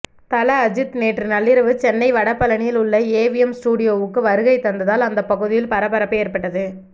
தல அஜித் நேற்று நள்ளிரவு சென்னை வடபழனியில் உள்ள ஏவிஎம் ஸ்டுடியோவுக்கு வருகை தந்ததால் அந்த பகுதியில் பரபரப்பு ஏற்பட்டது